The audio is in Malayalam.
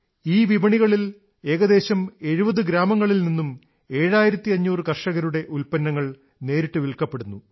ഈ വിപണികളിൽ ഏകദേശം 70 ഗ്രാമങ്ങളിൽ നിന്നും 7500 കർഷകരുടെ ഉത്പന്നങ്ങൾ നേരിട്ട് വില്ക്കപ്പെടുന്നു